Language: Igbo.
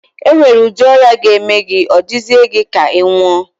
E nwere udi ọrịa ga-eme gị, ọ dịzịe gị ka ị nwụọ.